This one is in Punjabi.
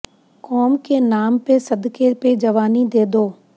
ਕੌਂਮ ਕੇ ਨਾਮ ਪੇ ਸਦਕੇ ਪੇ ਜਵਾਨੀ ਦੇ ਦੋ